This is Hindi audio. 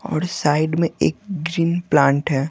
और साइड में एक ग्रीन प्लांट है।